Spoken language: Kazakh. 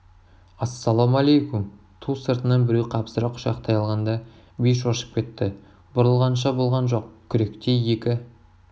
ассалаумалайкүм ту сыртынан біреу қапсыра құшақтай алғанда би шошып кетті бұрылғанша болған жоқ күректей екі